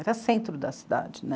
Era centro da cidade, né?